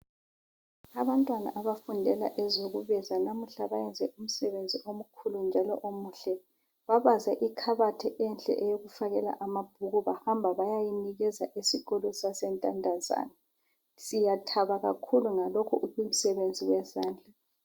Abantwana abafundela ezekubaza lamuhla bayenze umsebenzi omkhulu njalo omuhle. Babaze ikhabothi enhle eyokufakela amabhuku bahamba bayayinikeza isikolo sasentandazane. Siyathaba kakhulu ngalokhu umsebenzi wezandla.